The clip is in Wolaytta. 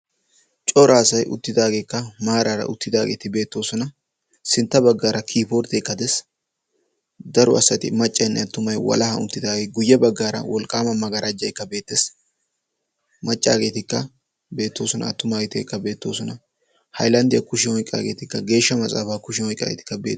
Cora asay uttidaageekka maaraara uttidaageeti beettoosona. Sintta baggaara kiibborddeekka de'ees. Daro asati maccaynne attumay walahan uttidaagee guyye baggaara wolqqaama maggarajjaykka beettees. Maccaageetikka beettoosona. Attumaageetikka beettoosona. Haylanddiya kushiyan oyqqaageetikka geeshsha maxaafaa oyqqidaageetikka beettoosona.